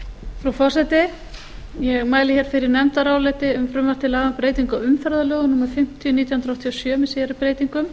frú forseti ég mæli hér fyrir nefndaráliti um frumvarp til laga um breytingu á umferðarlögum númer fimmtíu nítján hundruð áttatíu og sjö með síðari breytingu